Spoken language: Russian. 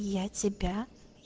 я тебя